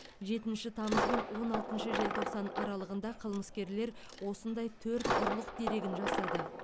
жетінші тамыз бен он алтыншы желтоқсан аралығында қылмыскерлер осындай төрт ұрлық дерегін жасады